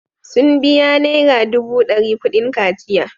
Sun biya naira dubu dari kudin kwanciya.